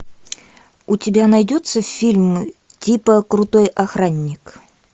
у тебя найдется фильм типа крутой охранник